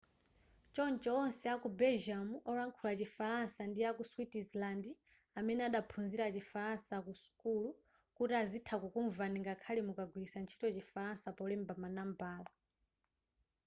choncho onse aku belgium olankhula chi falansa ndi aku switzerland amene adaphunzira chifalansa ku sukulu kuti azitha kukumvani ngakhale mukagwilitsa ntchito chifalansa polemba ma nambala